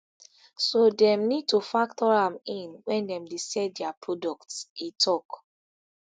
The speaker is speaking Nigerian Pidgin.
so dem need to factor am in wen dem dey sell dia products e tok